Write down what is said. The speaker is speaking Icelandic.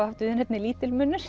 haft viðurnefnið